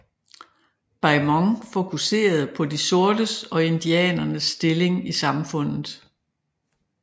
Beaumont fokuserede på de sortes og indianeres stilling i samfundet